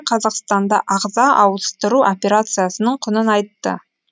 қазақстанда ағза ауыстыру операциясының құнын айтты